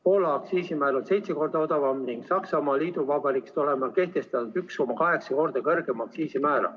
Poola aktsiisimäär on seitse korda odavam ning Saksamaa Liitvabariigist oleme kehtestanud 1,8 korda kõrgema aktsiisimäära.